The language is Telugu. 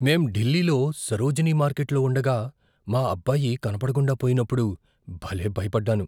మేం ఢిల్లీలో సరోజినీ మార్కెట్లో ఉండగా మా అబ్బాయి కనపడకుండా పోయినప్పుడు భలే భయపడ్డాను.